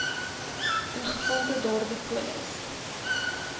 ingevolge daardie polis